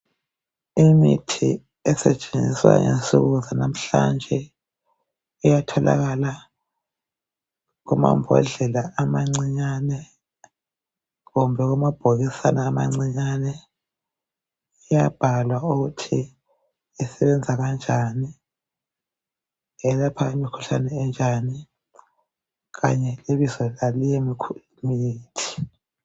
Imithi esetshenziswa ngensuku zalamhlanje iyatholakala kumambodlela amancinyane kumbe amabhokisana amancinyane . Iyabhalwa ukuthi isebenza kanjani. Iyelapha imikhuhlane enjani kanye lebizo laleyo mikhuhlane